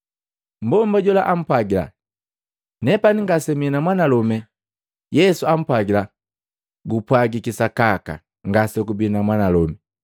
Mmbomba jola ampwagila, “Nepani ngase mii na mwanalome.” Yesu ampwagila, “Gupwajiki sakaka ngasegubii na mwanalome.